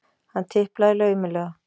Hann tiplaði laumulega.